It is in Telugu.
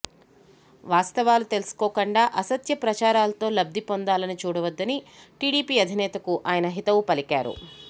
వాస్తవాలు తెలుసుకోకుండా అసత్య ప్రచారాలతో లబ్ది పొందాలని చూడవద్దని టీడీపీ అధినేతకు ఆయన హితవు పలికారు